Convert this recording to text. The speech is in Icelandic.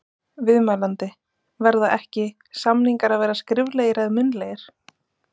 Viðmælandi: Verða ekki, samningar að vera skriflegir eða munnlegir?